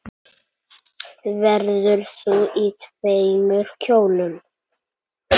Verður þú í tveimur kjólum?